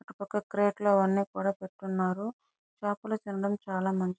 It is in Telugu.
అటుపక్క క్రాక్ లు అన్ని కూడా పెట్టి ఉన్నారు. చాపలు తినడం చాలా మంచ్ --